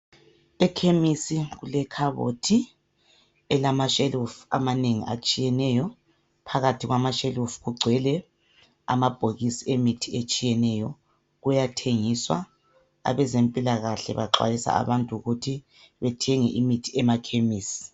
Ekhemisi kule khabothi elama shelufu amanengi atshiyeneyo .Phakathi kwama shelufu kugcwele amabhokisi emithi etshiyeneyo .Kuyathengiswa , abezempilakahle baxwayisa abantu ukuthi bethenge imithi emakhemisi.